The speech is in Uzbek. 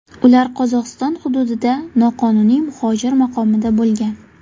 Ular Qozog‘iston hududida noqonuniy muhojir maqomida bo‘lgan.